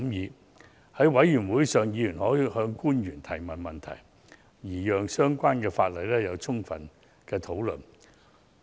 在法案委員會上，委員可向官員提問，讓相關法案經充分討論。